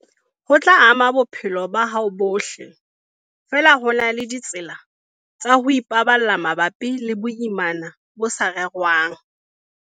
ho tla ama bophelo ba hao bohle, feela ho na le ditsela tsa ho ipaballa mabapi le boimana bo sa rerwang.